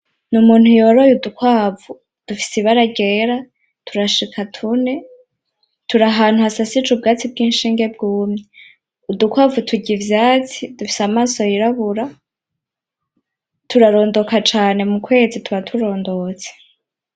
Ni umuntu yoroye udukwavu dufise ibara ryera turashika tune, turi ahantu hasasije ubwatsi bw'inshinge bwumye. Udukwavu turya ivyatsi, dufise amaso yirabura, turarondoka cane mu kwezi tuba turondotse.